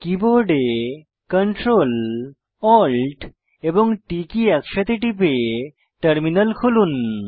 কীবোর্ডে Ctrl Alt T key একসাথে টিপে টার্মিনাল খুলুন